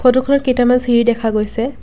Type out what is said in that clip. ফটোখনত কেইটামান চিৰি দেখা গৈছে।